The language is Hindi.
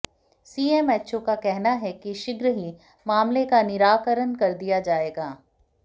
सीएमएचओ का कहना है कि शीघ्र ही मामले का निराकरण कर दिया जाएगा